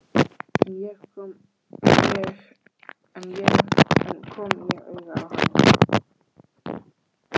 En kom ég auga á hann?